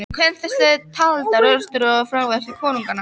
Í kvæðum þessum eru taldar orrustur og önnur frægðarverk konunganna.